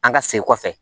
An ka segin kɔfɛ